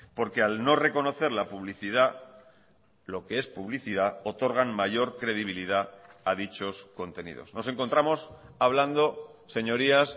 porque al no reconocer la publicidad lo que es publicidad otorgan mayor credibilidad a dichos contenidos nos encontramos hablando señorías